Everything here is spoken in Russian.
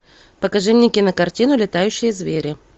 покажи мне кинокартину летающие звери